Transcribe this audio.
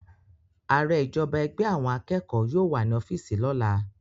Aare ijọba ẹgbẹ awọn akeko yóò wa ni ọfiisi lola